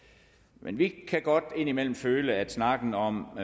men vi kan godt indimellem føle at snakken om